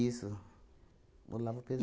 Olavo